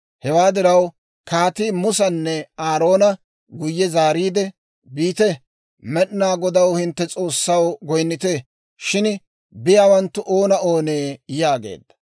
Hewaa diraw, kaatii Musanne Aaroona guyye zaariide, «Biite; Med'inaa Godaw, hinttenttu S'oossaw goynnite; shin biyaawanttu oona oonee?» yaageedda.